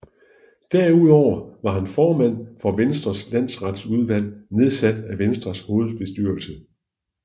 Derudover var han formand for Venstres Landsretsudvalg nedsat af Venstres hovedbestyrelse